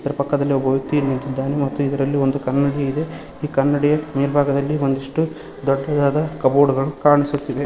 ಪಕ್ಕದಲ್ಲಿ ಒಬ್ಬ ವ್ಯಕ್ತಿಯು ನಿಂತಿದ್ದಾನೆ ಮತ್ತು ಇದರಲ್ಲಿ ಒಂದು ಕನ್ನಡಿ ಇದೆ ಈ ಕನ್ನಡಿಯ ಮೆಲ್ಬಾಗದಲ್ಲಿ ಒಂದಿಷ್ಟು ದೊಡ್ಡದಾದ ಕಪಬೋರ್ಡ್ ಗಳು ಕಾಣಿಸುತ್ತಿದೆ.